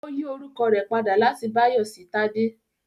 Ó yí orúkọ rẹ̀ padà láti Báyọ̀ sí Tádé